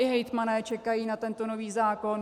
I hejtmani čekají na tento nový zákon.